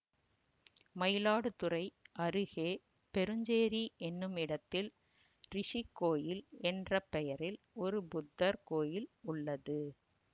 மயிலாடுதுறை அருகே பெருஞ்சேரி என்னுமிடத்தில் ரிஷிக்கோயில் என்ற பெயரில் ஒரு புத்தர் கோயில் உள்ளது